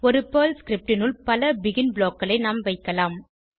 ஒரு Perl script னுள் பல பெகின் blockகளை நாம் வைக்கலாம்